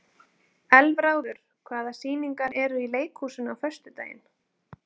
Elfráður, hvaða sýningar eru í leikhúsinu á föstudaginn?